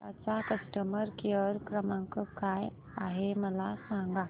Ninja चा customer care क्रमांक काय आहे मला सांगा